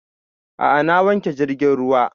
A'a na wanke jirgin ruwa